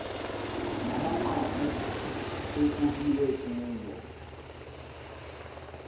namanqaku ekukbiwe kuwo